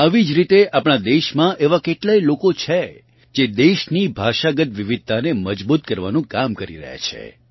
આવી જ રીતે આપણાં દેશમાં એવાં કેટલાય લોકો છે જે દેશની ભાષાગત વિવિધતાને મજબૂત કરવાનું કામ કરી રહ્યાં છે